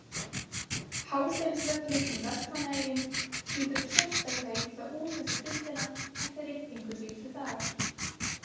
Hásteinsvöllur í Vestmannaeyjum lítur sérstaklega illa út þessa stundina eftir rigningu síðustu daga.